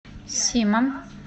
симом